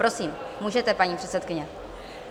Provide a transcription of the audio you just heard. Prosím, můžete, paní předsedkyně.